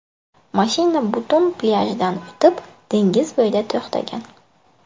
Mashina butun plyajdan o‘tib, dengiz bo‘yida to‘xtagan.